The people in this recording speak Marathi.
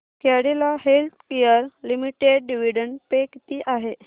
Cadila healthcare limited dividend pay किती आहे